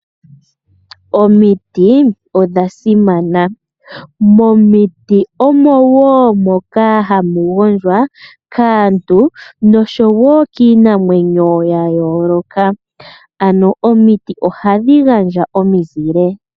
Omiti odha simana. Momiti omo hamu gondjwa kaantu noshowo kiinamwenyo ya yooloka, ano omiti ohadhi gandja omizile.